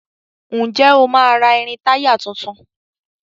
Ǹjẹ́ o máa ra irin-táyà tuntun?